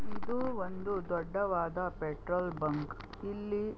ಇದು ಒಂದು ದೊಡ್ಡವಾದ ಪೆಟ್ರೋಲ್ ಬಂಕ್ ಇಲ್ಲಿ --